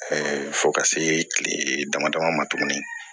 fo ka se kile dama dama ma tuguni